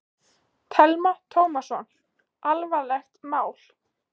Telma Tómasson: Alvarlegt mál?